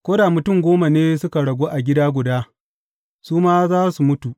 Ko da mutum goma ne suka ragu a gida guda, su ma za su mutu.